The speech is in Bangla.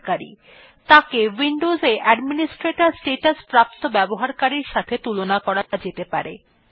মূল ব্যবহারকারী কে উইন্ডোজে অ্যাডমিনিস্ট্রেটর স্ট্যাটাস প্রাপ্ত ব্যবহারকারীর সাথে তুলনা করা যেতে পারে